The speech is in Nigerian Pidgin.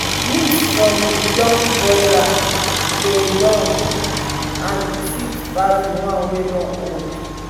meat from young broiler dey done quick and sweet pass the one wey don old.